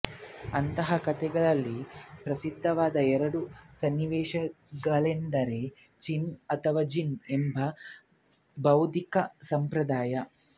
ಅಂತಹ ಕಥೆಗಳಲ್ಲಿ ಪ್ರಸಿದ್ಧವಾದ ಎರಡು ಸನ್ನಿವೇಶಗಳೆಂದರೆ ಚಾನ್ ಅಥವಾ ಜೆನ್ ಎಂಬುವ ಭೌದ್ಧಿಕ ಸಂಪ್ರದಾಯ